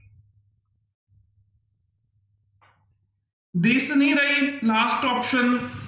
ਦਿਸ ਨਹੀਂ ਰਹੀ last option